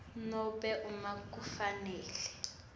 nobe uma kufanele